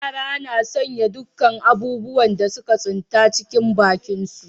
Yara kan sanya dukkan abubuwan da suka tsinta, cikin bakinsu.